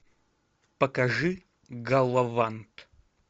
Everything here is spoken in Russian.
покажи галавант